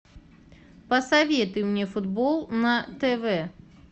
посоветуй мне футбол на тв